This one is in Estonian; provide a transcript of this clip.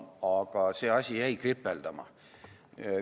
Aga see asi jäi kripeldama.